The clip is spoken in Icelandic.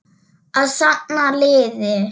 Að safna liði!